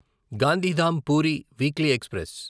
Gandhidham Puri weekly express